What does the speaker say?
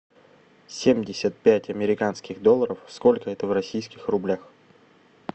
семьдесят пять американских долларов сколько это в российских рублях